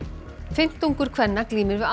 fimmtungur kvenna glímir við